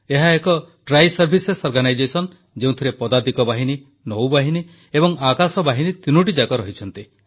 ଏହା ଏକ ତ୍ରିସେବା ସଂଗଠନ ଯେଉଁଥିରେ ପଦାତିକ ବାହିନୀ ନୌବାହିନୀ ଏବଂ ଆକାଶବାହିନୀ ତିନୋଟିଯାକ ରହିଛି